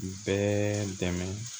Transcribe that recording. Bɛɛ dɛmɛ